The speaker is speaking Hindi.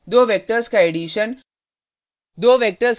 दो वेक्टर्स का एडिशन